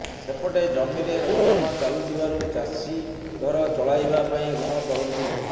ସେପଟେ ଜମିରେ ଖନନ ଚାଲୁଥିବାରୁ ଚାଷୀ ଘର ଚଳାଇବା ପାଇଁ ଋଣ କରନ୍ତି